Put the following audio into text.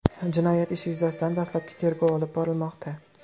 Jinoyat ishi yuzasidan dastlabki tergov olib borilmoqda.